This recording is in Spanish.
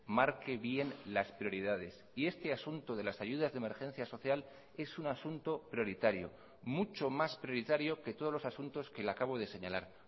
marque bien las prioridades y este asunto de las ayudas de emergencia social es un asunto prioritario mucho más prioritario que todos los asuntos que le acabo de señalar